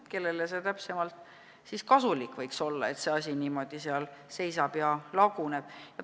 Kellele see täpselt kasulik võiks olla, et see hoone seal niimoodi seisab ja laguneb?